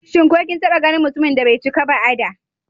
Shin ko kin taɓa ganin mutumin da bai cika ba a da?